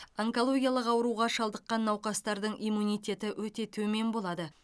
онкологиялық ауруға шалдыққан науқастардың иммунитеті өте төмен болады